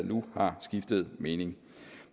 nu har skiftet mening